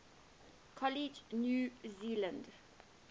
college new zealand